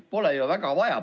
Pole ju väga vaja.